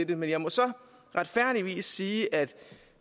det men jeg må så retfærdigvis sige at